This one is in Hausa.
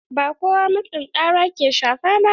Ba kowa matsin tsara ke shafa ba.